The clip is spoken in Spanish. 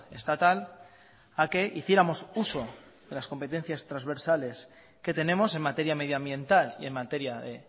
estatal a que hiciéramos uso de las competencias transversales que tenemos en materia medioambiental y en materia de